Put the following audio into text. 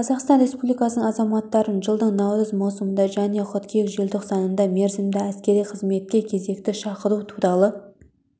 қазақстан республикасының азаматтарын жылдың наурыз маусымында және қыркүйек желтоқсанында мерзімді әскери қызметке кезекті шақыру туралы